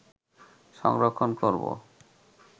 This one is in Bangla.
সংরক্ষণ করব